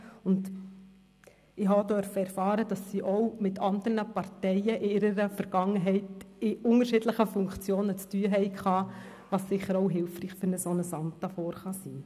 Ich durfte erfahren, dass sie auch mit anderen Parteien in ihrer Vergangenheit in unterschiedlichen Funktionen zu tun hatten, was sicher auch hilfreich ist für ein solches Amt hier vorne.